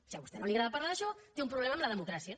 si a vostè no li agrada parlar d’això té un problema amb la democràcia